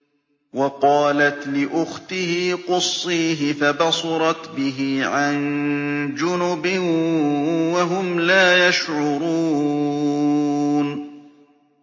وَقَالَتْ لِأُخْتِهِ قُصِّيهِ ۖ فَبَصُرَتْ بِهِ عَن جُنُبٍ وَهُمْ لَا يَشْعُرُونَ